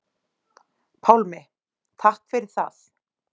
Pálmi: Takk fyrir það.